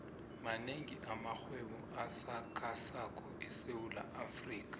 manengi amarhwebo asakhasako esewula afrika